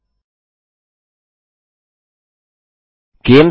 जब तक आप चाहो तब तक खेल ज़ारी रख सकते हैं